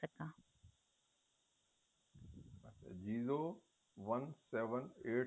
zero one seven eight